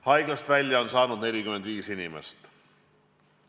Haiglast välja on saanud 45 inimest.